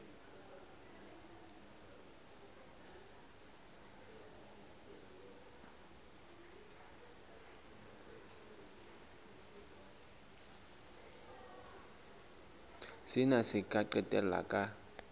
sena se ka qetella ka